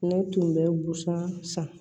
Ne tun bɛ busan san